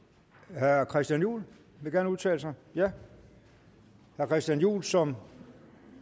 vil herre christian juhl gerne udtale sig ja herre christian juhl som